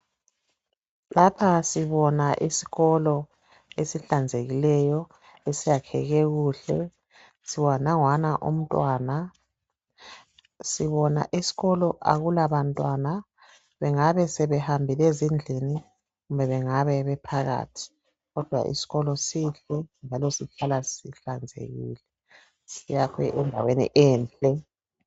Lapha sibona isikolo esihlanzekileyo esiyakheke kuhle. Nanguyana umntwana, sibona esikolo akulabantwana bengabe sebehambile ezindlini, kumbe bengabe bephakathi kodwa isikolo sihle njalo sihlala sihlanzekile. Siyakhwe endaweni enhle.